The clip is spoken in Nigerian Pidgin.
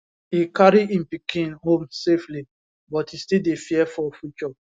e carry im pikin home safely but e still dey fear for future